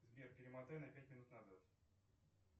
сбер перемотай на пять минут назад